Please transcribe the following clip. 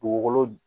Dugukolo